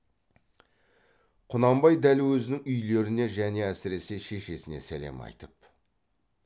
құнанбай дәл өзінің үйлеріне және әсіресе шешесіне сәлем айтып